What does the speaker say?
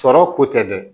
Sɔrɔ ko tɛ dɛ